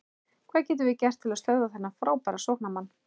Hvað getum við gert til að stöðva þennan frábæra sóknarmann?